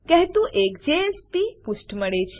કહેતું એક જેએસપી પુષ્ઠ મળે છે